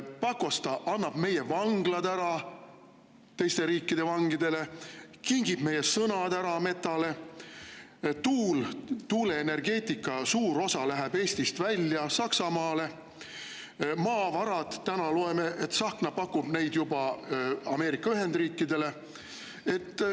Pakosta annab meie vanglad ära teiste riikide vangidele, kingib meie sõnad ära Metale, tuuleenergeetikast suur osa läheb Eestist välja Saksamaale ja täna loeme, et Tsahkna pakub maavarasid juba Ameerika Ühendriikidele.